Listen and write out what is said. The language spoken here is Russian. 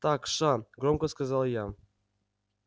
так ша громко сказала я